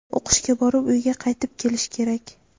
O‘qishga borib, uyga qaytib kelish kerak.